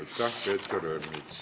Aitäh, Peeter Ernits!